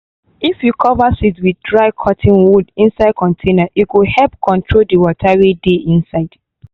if you cover seed with dry cotton wool inside container e go help control the water wey dey inside.